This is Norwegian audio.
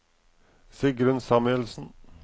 Sigrunn Samuelsen